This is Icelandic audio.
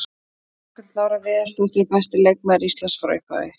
Margrét Lára Viðarsdóttir- Besti leikmaður Íslands frá upphafi.